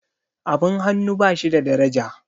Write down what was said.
abin hannu ba shi da daraja